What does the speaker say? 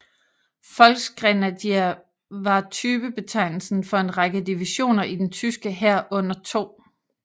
Volksgrenadier var typebetegnelsen for en række divisioner i den tyske hær under 2